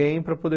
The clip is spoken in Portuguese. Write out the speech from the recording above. e para poder